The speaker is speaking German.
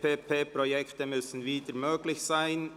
«PPPProjekte müssen wieder möglich sein».